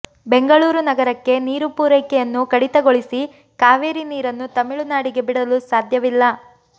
ಬೆಂಗಳೂರು ನಗರಕ್ಕೆ ನೀರು ಪೂರೈಕೆನ್ನು ಕಡಿತಗೊಳಿಸಿ ಕಾವೇರಿ ನೀರನ್ನು ತಮಿಳುನಾಡಿಗೆ ಬಿಡಲು ಸಾಧ್ಯವಿಲ್ಲ